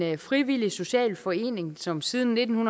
en frivillig social forening som siden nitten